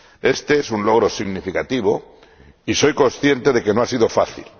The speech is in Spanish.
Este es un logro significativo, y soy consciente de que no ha sido fácil.